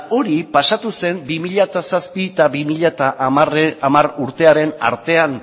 hori pasatu zen bi mila zazpi bi mila hamar urtearen artean